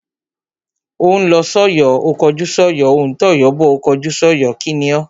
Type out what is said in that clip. Ó ń lọ sọ́yọ̀ ó kọjú sọ́yọ̀, ó ń tọ̀yọ́ bọ̀ ó kọjú sọ́yọ̀. kíni o?